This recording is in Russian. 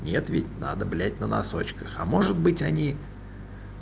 нет ведь надо блять на носочках а может быть они